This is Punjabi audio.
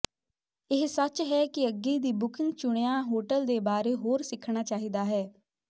ਇਹ ਸੱਚ ਹੈ ਕਿ ਅੱਗੇ ਦੀ ਬੁਕਿੰਗ ਚੁਣਿਆ ਹੋਟਲ ਦੇ ਬਾਰੇ ਹੋਰ ਸਿੱਖਣਾ ਚਾਹੀਦਾ ਹੈ